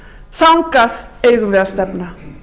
þangað eigum við að stefna